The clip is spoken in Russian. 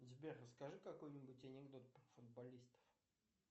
сбер расскажи какой нибудь анекдот про футболистов